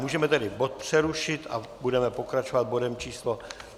Můžeme tedy bod přerušit a budeme pokračovat bodem číslo